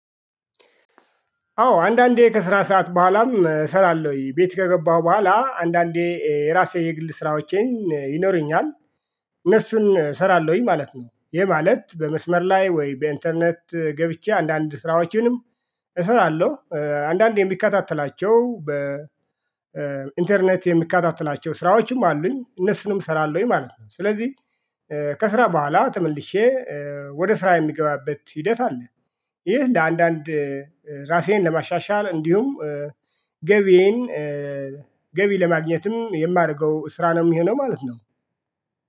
አዎ አንዳንዴ ከስራ ሰዓት በኋላም እሰራለሁኝ። ቤት ከገባሁ በኋላ አንዳንዴ የራሴ የግል ስራዎቸን ይኖረኛል። እነሱን እሰራለሁኝ ማለት ነው። ይሄ ማለት በመስመር ላይ ወይ በኢንተርኔት ገብቼ አንዳንድ ስራዎችንም እሰራለሁ። አንዳንድ የምከታተላቸው ኢንተርኔት የምከታተላቸው ስራዎችም አሉኝ። እነሱንም እሰራለሁኝ ማለት ነው። ስለዚህ ከስራ በኋላ ተመልሼ ወደ ስራ የሚገባበት ሂደት አለ። ይህ ለአንዳንድ ራሴን ለማሻሻል እንዲሁም ገቢዬን ገቢ ለማግኘትም የማደርገው ስራ ነው የሚሆነው ማለት ነው።